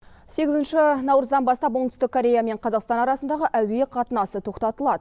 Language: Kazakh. сегізінші наурыздан бастап оңтүстік корея мен қазақстан арасындағы әуе қатынасы тоқтатылады